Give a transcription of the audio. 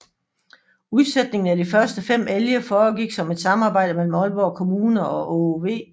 Udsætningen af de første fem elge foregik som et samarbejde mellem Aalborg Kommune og Aage V